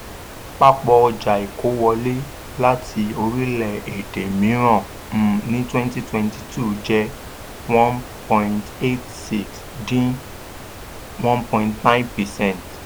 àpapọ̀ ọjà ìkó wọlé láti orílẹ̀ èdè mìíràn um ní twenty twenty two jẹ́ one point eight six dín seven point nine percent